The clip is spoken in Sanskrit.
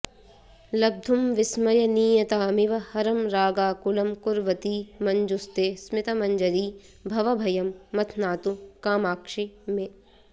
लब्धुं विस्मयनीयतामिव हरं रागाकुलं कुर्वती मञ्जुस्ते स्मितमञ्जरी भवभयं मथ्नातु कामाक्षि मे